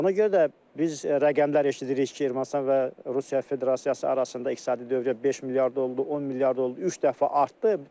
Ona görə də biz rəqəmlər eşidirik ki, Ermənistan və Rusiya Federasiyası arasında iqtisadi dövriyyə 5 milyard oldu, 10 milyard oldu, üç dəfə artdı.